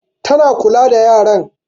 Ta na kula da yaran.